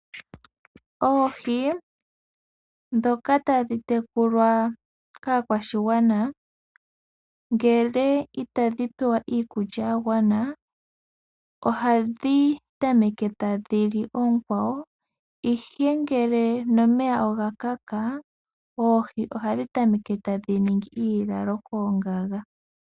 Oohi ndhoka tadhi tekulwa kaakwashigwana, ndele itadhi pewa iikulya yagwana , ohadhi tameke tadhi li oonkwawo , ihe ngele nomeya oga kaka, oohi ohadhi tameke tadhi ningi iilalo koongaga.